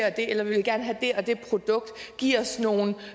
og det eller vi vil gerne have det og det produkt giv os nogle